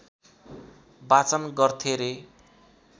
वाचन गर्थे रे